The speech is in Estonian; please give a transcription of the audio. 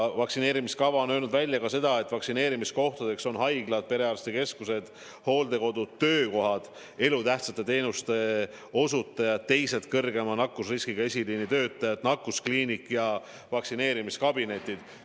Vaktsineerimiskavas on välja öeldud ka seda, et vaktsineerimiskohtadeks on haiglad, perearstikeskused, hooldekodud, töökohad, kus töötavad elutähtsate teenuste osutajad ja teised kõrgema nakkusriskiga eesliinitöötajad, samuti nakkuskliinik ja vaktsineerimiskabinetid.